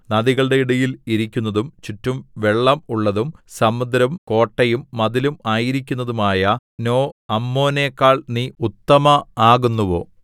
നദികളുടെ ഇടയിൽ ഇരിക്കുന്നതും ചുറ്റും വെള്ളം ഉള്ളതും സമുദ്രം കോട്ടയും മതിലും ആയിരിക്കുന്നതുമായ നോഅമ്മോനെക്കാൾ നീ ഉത്തമ ആകുന്നുവോ